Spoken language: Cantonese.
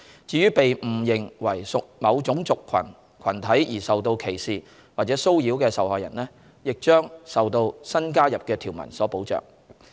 至於被誤認為屬某種族群體而受到歧視或者騷擾的受害人，亦將受到新加入的條文所保障。